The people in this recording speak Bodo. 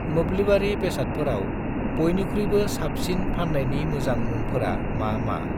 मोब्लिबारि बेसादफोराव बयनिख्रुइबो साबसिन फान्नायनि मोजां मुंफोरा मा मा?